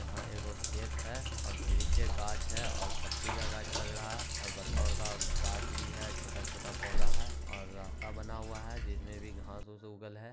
और यहां ये ऐ गो खेत है और ढेरी के गाच्छ है पत्ती का गाच्छ लग रहा है और बड़क- बड़का गाच्छ भी है । छोटा-छोटा पौधा है और रास्ता बना हुआ है। उस पे भी घांस उगल है।